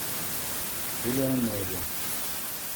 элеоноре